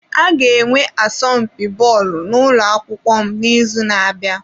A ga-enwe asọmpi bọọlụ n'ụlọ akwụkwọ m n'izu na-abịa.